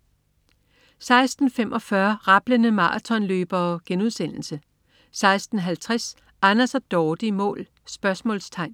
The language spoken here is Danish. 16.45 Rablende maratonløbere* 16.50 Anders og Dorte i mål?* 17.15